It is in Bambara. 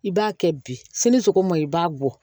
I b'a kɛ bi sini sogo ma ɲi i b'a bɔ